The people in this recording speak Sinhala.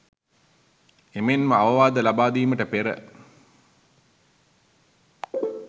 එමෙන්ම අවවාද ලබාදීමට පෙර